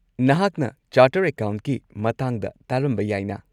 ꯅꯍꯥꯛꯅ ꯆꯥꯔꯇꯔ ꯑꯦꯀꯥꯎꯟꯠꯀꯤ ꯃꯇꯥꯡꯗ ꯇꯥꯔꯝꯕ ꯌꯥꯏꯅꯥ?